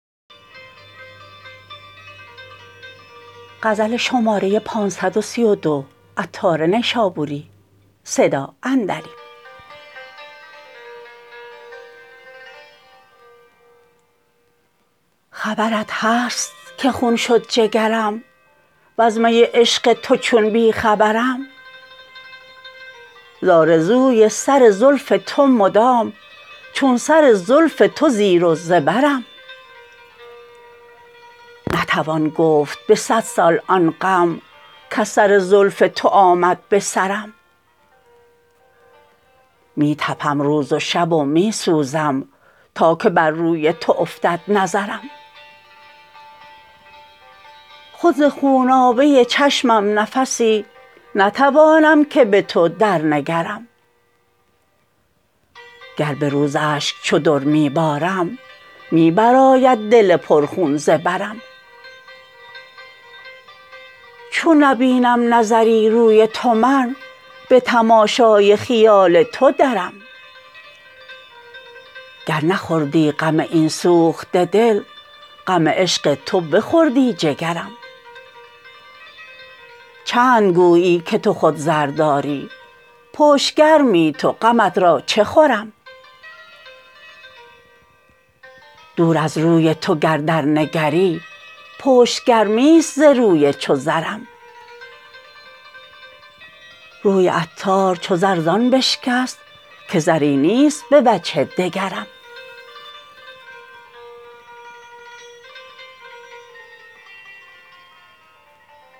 خبرت هست که خون شد جگرم وز می عشق تو چون بی خبرم زآرزوی سر زلف تو مدام چون سر زلف تو زیر و زبرم نتوان گفت به صد سال آن غم کز سر زلف تو آمد به سرم می تپم روز و شب و می سوزم تا که بر روی تو افتد نظرم خود ز خونابه چشمم نفسی نتوانم که به تو در نگرم گر به روز اشک چو در می بارم می بر آید دل پر خون ز برم چون نبینم نظری روی تو من به تماشای خیال تو درم گر نخوردی غم این سوخته دل غم عشق تو بخوردی جگرم چند گویی که تو خود زر داری پشت گرمی تو غمت را چه خورم دور از روی تو گر درنگری پشت گرمی است ز روی چو زرم روی عطار چو زر زان بشکست که زری نیست به وجه دگرم